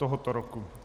Tohoto roku.